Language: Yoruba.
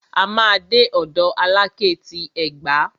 A máa dé ọ̀dọ̀ Alákẹ́ ti Ẹ̀gbá.